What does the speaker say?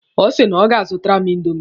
Ọ sị na ọ ga-azụtara m indomi.